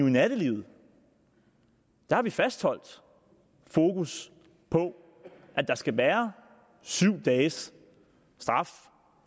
i nattelivet der har vi fastholdt fokus på at der skal være syv dages straf